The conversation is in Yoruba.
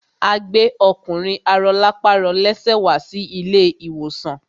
A gbẹ́ ọkùnrin arọlápàrọlẹ́sẹ̀ wá sí ilé ìwòsàn.